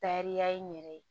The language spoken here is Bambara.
Tariya n yɛrɛ ye